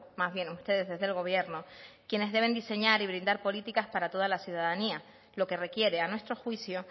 más bien ustedes desde el gobierno quienes deben diseñar y brindar políticas para toda la ciudadanía lo que requiere a nuestro juicio